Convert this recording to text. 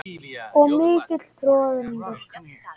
Og mikill troðningur.